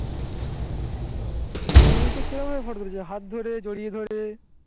আচ্ছা. কুড়ি বাইশটা কিরম ভাবে photo তুলেছো? হাত ধরে জড়িয়ে ধরে